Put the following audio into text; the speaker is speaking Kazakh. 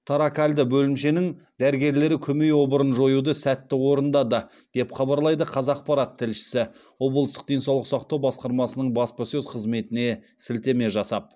торакальды бөлімшенің дәрігерлері көмей обырын жоюды сәтті орындады деп хабарлайды қазақпарат тілшісі облыстық денсаулық сақтау басқармасының баспасөз қызметіне сілтеме жасап